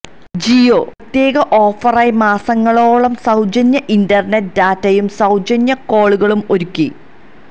ജിയോ പ്രത്യേക ഓഫറായി മാസങ്ങളോളം സൌജന്യ ഇന്റര്നെറ്റ് േഡറ്റയും സൌജന്യ കോളുകളും ഒരുക്കി